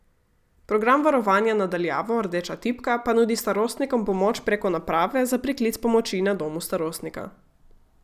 Program varovanja na daljavo Rdeča tipka pa nudi starostnikom pomoč preko naprave za priklic pomoči na domu starostnika.